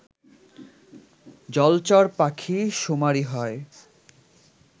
জলচর পাখি শুমারি হয়